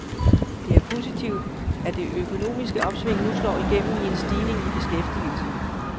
Det er positivt, at det økonomiske opsving nu slår igennem i en stigning i beskæftigelsen.